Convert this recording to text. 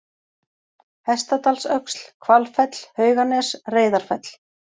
Hestadalsöxl, Hvalfell, Hauganes, Reyðarfell